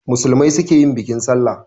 Musulmai su ke yin bikin sallah